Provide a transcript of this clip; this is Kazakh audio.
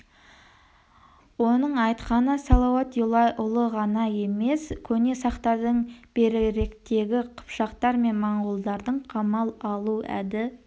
оның айтқаны салауат юлай ұлы ғана емес көне сақтардың беріректегі қыпшақтар мен монғолдардың қамал алу әді-